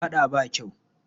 Faɗa ba kyau.